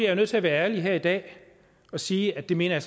jeg nødt til at være ærlig her i dag og sige at det mener